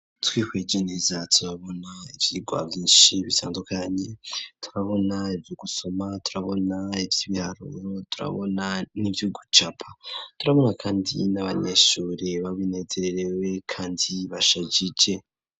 Twihweje neza turabona ivyigwa vyinshi bitandukanye, turabona ivyu gusoma, turabona ivy'ibiharuro, turabona n'ivy'ugucapa, turabona kandi n'abanyeshuri babinezererewe kandi bashajije.